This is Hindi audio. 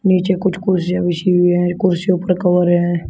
नीचे कुछ कुर्सियां बिछी हुई हैं कुर्सियों पर कवर है।